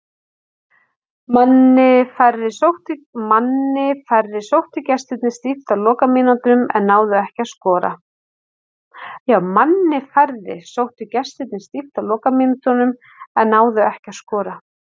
Manni færri sóttu gestirnir stíft á lokamínútunum en náðu ekki að skora.